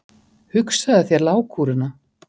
Hugsaðu þér lágkúruna!